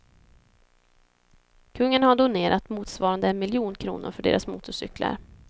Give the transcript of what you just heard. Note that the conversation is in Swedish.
Kungen har donerat motsvarande en miljon kronor för deras motorcyklar.